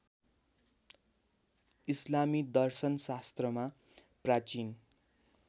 इस्लामी दर्शनशास्त्रमा प्राचीन